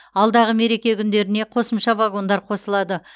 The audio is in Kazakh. алдағы мереке күндеріне қосымша вагондар қосылады